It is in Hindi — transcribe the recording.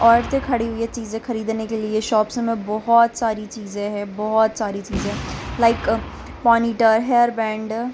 औरते खड़ी हुईं हैं चीज़े खरीदने के लिए शॉप्स में बहुत सारी चीज़े हैं बहुत सारी चीज़े है लाइक पोनीटेल हेयरबैंड --